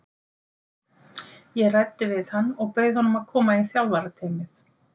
Ég ræddi við hann og bauð honum að koma í þjálfarateymið.